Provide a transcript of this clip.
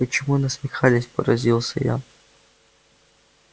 почему насмехались поразился я